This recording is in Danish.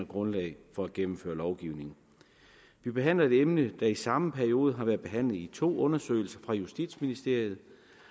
grundlag for at gennemføre lovgivning vi behandler et emne der i samme periode har været behandlet i to undersøgelser fra justitsministeriets